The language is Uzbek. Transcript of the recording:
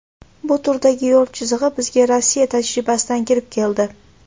Bu turdagi yo‘l chizig‘i bizga Rossiya tajribasidan kirib keldi.